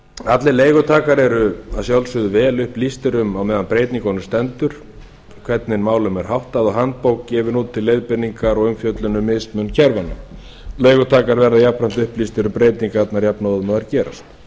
allir leigutakar eru að sjálfsögðu vel upplýstir um á meðan á breytingunum stendur hvernig málum er háttað og handbók gefin út til leiðbeiningar og umfjöllun um mismun kerfanna leigutakar verða jafnframt upplýstir um breytingarnar jafnóðum og þær gerast